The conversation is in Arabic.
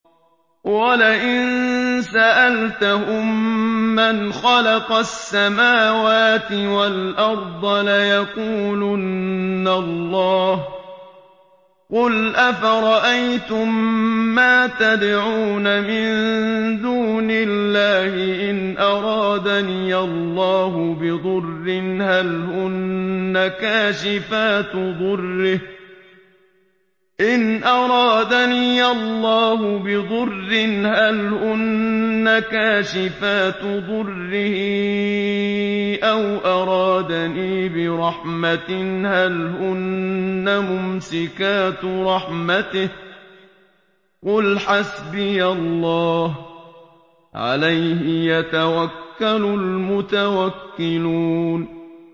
وَلَئِن سَأَلْتَهُم مَّنْ خَلَقَ السَّمَاوَاتِ وَالْأَرْضَ لَيَقُولُنَّ اللَّهُ ۚ قُلْ أَفَرَأَيْتُم مَّا تَدْعُونَ مِن دُونِ اللَّهِ إِنْ أَرَادَنِيَ اللَّهُ بِضُرٍّ هَلْ هُنَّ كَاشِفَاتُ ضُرِّهِ أَوْ أَرَادَنِي بِرَحْمَةٍ هَلْ هُنَّ مُمْسِكَاتُ رَحْمَتِهِ ۚ قُلْ حَسْبِيَ اللَّهُ ۖ عَلَيْهِ يَتَوَكَّلُ الْمُتَوَكِّلُونَ